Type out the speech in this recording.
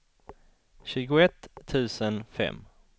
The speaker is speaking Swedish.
tjugoett tusen fem